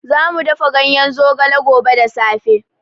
Za mu dafa ganyen zogale gobe da safe.